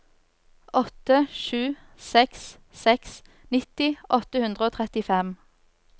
åtte sju seks seks nitti åtte hundre og trettifem